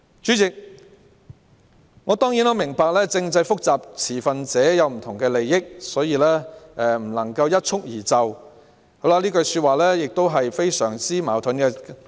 主席，我明白政制問題複雜，並涉及不同持份者的利益，不可能一蹴而就，但這句說話十分矛盾。